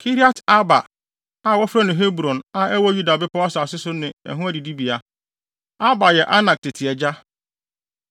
Kiriat-Arba a (wɔfrɛ no Hebron), a ɛwɔ Yuda bepɔw asase so ne ɛho adidibea. (Arba yɛ Anak tete agya.)